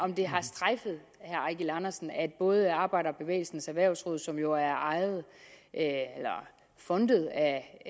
eigil andersen at både arbejderbevægelsens erhvervsråd som jo er fondet af